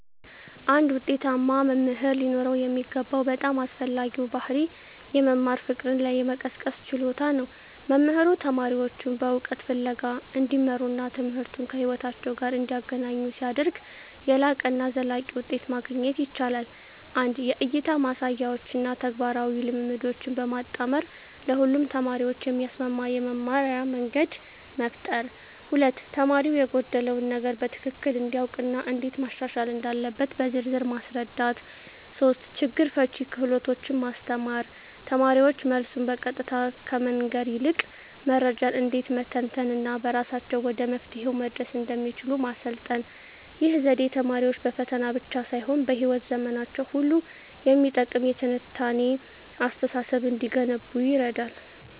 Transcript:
አንድ ውጤታማ መምህር ሊኖረው የሚገባው በጣም አስፈላጊው ባሕርይ የመማር ፍቅርን የመቀስቀስ ችሎታ ነው። መምህሩ ተማሪዎቹን በእውቀት ፍለጋ እንዲመሩና ትምህርቱን ከሕይወታቸው ጋር እንዲያገናኙ ሲያደርግ፣ የላቀና ዘላቂ ውጤት ማግኘት ይቻላል። 1) የእይታ ማሳያዎችን እና ተግባራዊ ልምምዶችን በማጣመር ለሁሉም ተማሪዎች የሚስማማ የመማርያ መንገድ መፍጠር። 2)ተማሪው የጎደለውን ነገር በትክክል እንዲያውቅ እና እንዴት ማሻሻል እንዳለበት በዝርዝር ማስረዳት። 3)ችግር ፈቺ ክህሎቶችን ማስተማር: ተማሪዎች መልሱን በቀጥታ ከመንገር ይልቅ መረጃን እንዴት መተንተን እና በራሳቸው ወደ መፍትሄው መድረስ እንደሚችሉ ማሰልጠን። ይህ ዘዴ ተማሪዎች በፈተና ብቻ ሳይሆን በሕይወት ዘመናቸው ሁሉ የሚጠቅም የትንታኔ አስተሳሰብ እንዲገነቡ ይረዳል።